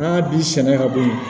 N'a bi sɛnɛ ka bɔ yen